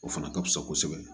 O fana ka fisa kosɛbɛ